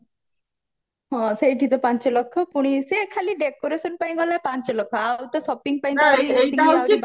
ହଁ ସେଇଠି ତ ପାଞ୍ଚ ଲକ୍ଷ ପୁଣି ସେ ଖାଲି decoration ପାଇଁ ଗଲା ପାଞ୍ଚ ଲକ୍ଷ ଆଉ ଆଉ ତ shopping ପାଇଁ